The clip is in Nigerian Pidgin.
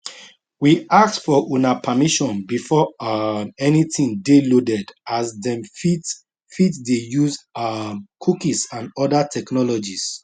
we ask for una permission before um anytin dey loaded as dem fit fit dey use um cookies and oda technologies